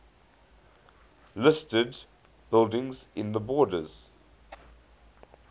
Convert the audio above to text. listed buildings in the borders